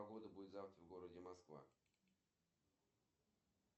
афина как доехать до банкомата чтобы снять деньги